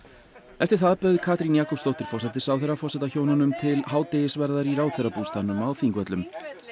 eftir það bauð Katrín Jakobsdóttir forsætisráðherra forsetahjónunum til hádegisverðar í ráðherrabústaðnum á Þingvöllum